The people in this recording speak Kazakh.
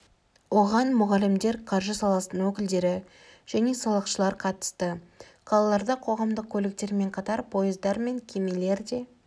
оған мұғалімдер қаржы саласының өкілдері мен салықшылар қатысты қалаларда қоғамдық көліктермен қатар пойыздар мен кемелер де